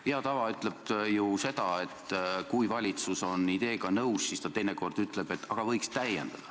Hea tava ütleb ju seda, et kui valitsus on ideega nõus, siis ta teinekord ütleb, et võiks täiendada.